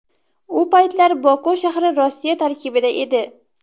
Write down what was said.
U paytlar Boku shahri Rossiya tarkibida edi.